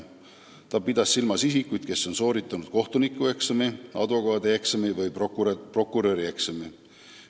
Ta pidas silmas isikuid, kes on sooritanud kohtunikueksami, advokaadieksami või prokurörieksami.